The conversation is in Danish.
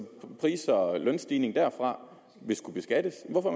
pris og lønstigninger derfra vil skulle beskattes hvorfor